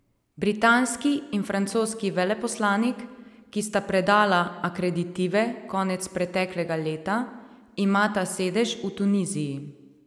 Britanski in francoski veleposlanik, ki sta predala akreditive konec preteklega leta, imata sedež v Tuniziji.